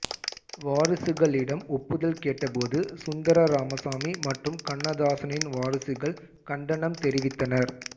வாரிசுகளிடம் ஒப்புதல் கேட்ட போது சுந்தர ராமசாமி மற்றும் கண்ணதாசனின் வாரிசுகள் கண்டனம் தெரிவித்தனர்